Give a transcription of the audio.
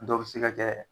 Dɔw bɛ se ka kɛ